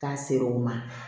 K'a ser'o ma